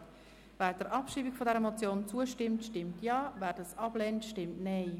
Wer der Abschreibung dieser Motion zustimmt, stimmt Ja, wer diese ablehnt, stimmt Nein.